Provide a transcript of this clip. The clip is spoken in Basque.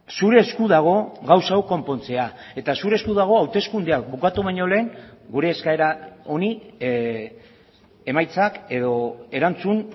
zure esku dago gauza hau konpontzea eta zure esku dago hauteskundeak bukatu baino lehen gure eskaera honi emaitzak edo erantzun